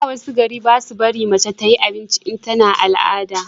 a da wasu gari basu barin mace ta yi abinci in tana al'ada